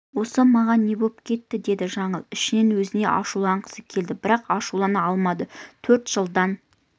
осы маған не боп кетті деді жаңыл ішінен өзіне ашуланғысы келді бірақ ашулана алмады төрт жылдан